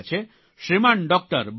Shriman doctor Borse